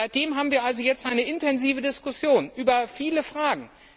Seitdem haben wir also jetzt eine intensive Diskussion über viele Fragen.